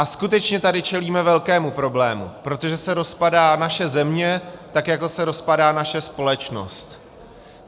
A skutečně tady čelíme velkému problému, protože se rozpadá naše země tak, jako se rozpadá naše společnost.